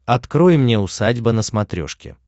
открой мне усадьба на смотрешке